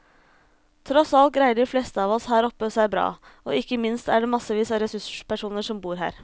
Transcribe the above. Tross alt greier de fleste av oss her oppe seg bra, og ikke minst er det massevis av ressurspersoner som bor her.